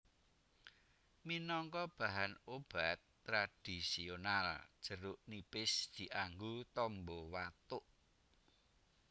Minangka bahan obat tradhisional jeruk nipis dianggo tamba watuk